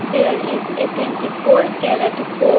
There is a twenty four carat gold.